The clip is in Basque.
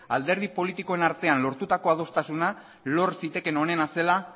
alderdi politikoen artean lortutako adostasuna lor zitekeen onena zela